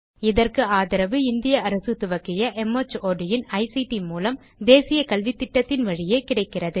இதற்கு ஆதரவு இந்திய அரசு துவக்கிய மார்ட் இன் ஐசிடி மூலம் தேசிய கல்வித்திட்டத்தின் வழியே கிடைக்கிறது